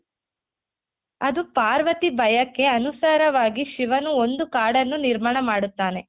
ಅದು ಪಾರ್ವತಿ ಬಯಕೆ ಅನುಸಾರವಾಗಿ ಶಿವನು ಒಂದು ಕಾಡನ್ನು ನಿರ್ಮಾಣ ಮಾಡುತ್ತಾನೆ.